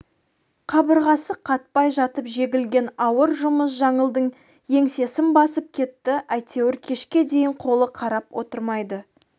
қабырғасы қатпай жатып жегілген ауыр жұмыс жаңылдың еңсесін басып кетті әйтеуір кешке дейін қолы қарап отырмайды